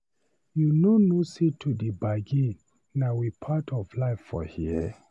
You no know sey to dey bargin na we part of life for here?